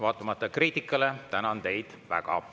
Vaatamata kriitikale tänan teid väga.